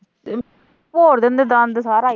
ਭੋਰ ਦਿੰਦੇ ਦੰਦ ਸਾਰਾ ਈ।